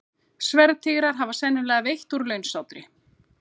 Sverðtígrar hafa sennilega veitt úr launsátri.